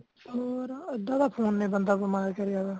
ਹੋਰ ਅੱਧਾ ਤੇ phone ਨੇ ਬੰਦਾ ਬਿਮਾਰ ਕਰਿਆ ਹੋਇਆ